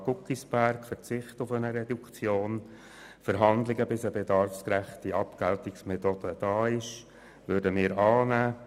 Die Planungserklärung Guggisberg, den Verzicht auf eine Reduktion und Verhandlungen, bis eine bedarfsgerechte Abgeltungsmethode gefunden ist, nehmen wir an.